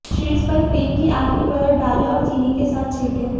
शीर्ष पर क्रीम की आखिरी परत डालें और चीनी के साथ छिड़कें